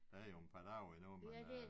Der er jo en par år endnu men øh